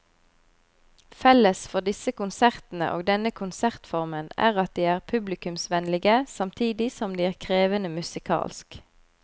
Felles for disse konsertene og denne konsertformen er at de er publikumsvennlige samtidig som de er krevende musikalsk.